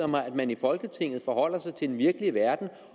mig at man i folketinget forholder sig til den virkelige verden